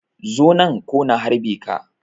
Zo nan ko na harbe ka.